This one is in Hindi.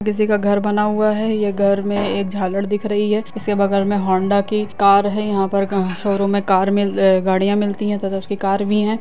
किसी का घर बना हुआ है ये घर में एक झालर दिख रही है इसके बगल में हौंडा की कार है यहाँ पर क शोरूम में कार में गाड़िया मिलती है तथा उसकी कार भी है।